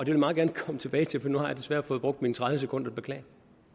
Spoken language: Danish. jeg meget gerne komme tilbage til for nu har desværre fået brugt mine tredive sekunder beklager